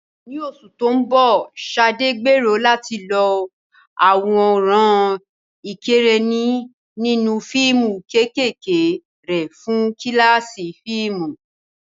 Ní oṣù tó ń bọ̀, Sade gbèrò láti lo àwòrán ìkẹ́rẹ́nì nínú fíìmù kéékèèké rẹ̀ fún kíláàsì fíìmù.